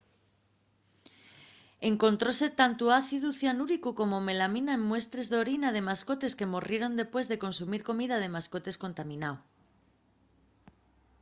encontróse tantu ácidu cianúrico como melamina en muestres d’orina de mascotes que morrieron dempués de consumir comida de mascotes contaminao